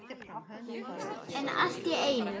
En allt í einu.